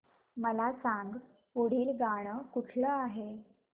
मला सांग पुढील गाणं कुठलं आहे